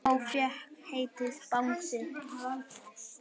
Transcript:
Sá fékk heitið Bangsi.